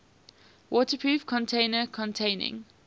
waterproof container containing